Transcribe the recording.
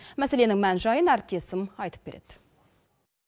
мәселенің мән жайын әріптесім айтып береді